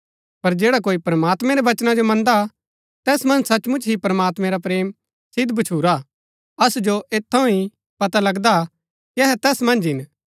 पर जैडा कोई प्रमात्मैं रै वचना जो मन्दा तैस मन्ज सचमुच ही प्रमात्मैं रा प्रेम सिद्व भछुरा असु जो ऐत थऊँ ही पता लगदा कि अहै तैस मन्ज हिन